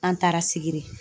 An taara Sikiri.